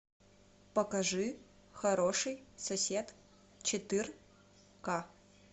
покажи хороший сосед четыр ка